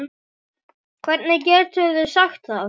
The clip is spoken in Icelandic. Hvernig geturðu sagt það?